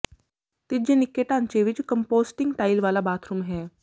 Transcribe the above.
ਤੀਜੇ ਨਿੱਕੇ ਢਾਂਚੇ ਵਿਚ ਕੰਪੋਸਟਿੰਗ ਟਾਇਲਟ ਵਾਲਾ ਬਾਥਰੂਮ ਹੈ